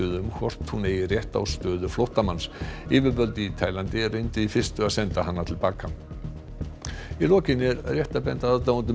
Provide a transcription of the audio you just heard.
um hvort hún eigi rétt á stöðu flóttamanns yfirvöld í Taílandi reyndu í fyrstu að senda hana til baka í lokin er rétt að benda aðdáendum